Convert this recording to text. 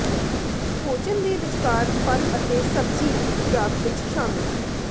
ਭੋਜਨ ਦੇ ਵਿਚਕਾਰ ਫਲ ਅਤੇ ਸਬਜ਼ੀ ਦੀ ਖੁਰਾਕ ਵਿੱਚ ਸ਼ਾਮਿਲ